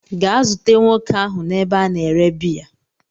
gaa zute nwoke ahu n'ebe a na-ere biya